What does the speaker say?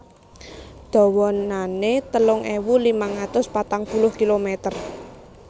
Dawanané telung ewu limang atus patang puluh kilomèter